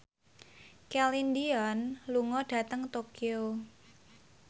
Celine Dion lunga dhateng Tokyo